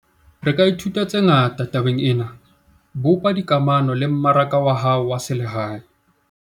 Re ka ithuta tse ngata tabeng ena - bopa dikamano le mmaraka wa hao wa selehae.